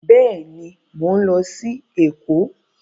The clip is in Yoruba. Bẹ́ẹ̀ni, mọ ń lọ sí Èkó